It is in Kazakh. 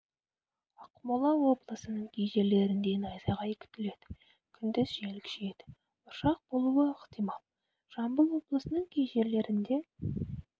ақмола облысының кей жерлерінде найзағай күтіледі күндіз жел күшейеді бұршақ болуы ықтимал жамбыл облысының кей жерлерінде